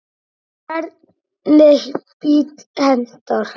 Hvernig bíll hentar?